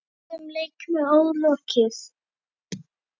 Fjórum leikjum er ólokið.